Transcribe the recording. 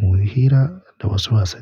muyi hira da wasu wasanni.